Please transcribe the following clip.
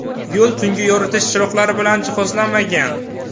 Yo‘l tungi yoritish chiroqlari bilan jihozlanmagan.